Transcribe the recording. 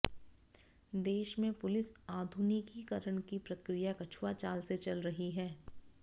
देश में पुलिस आधुनिकीकरण की प्रक्रिया कछुआ चाल से चल रही है